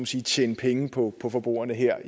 sige tjene penge på på forbrugerne her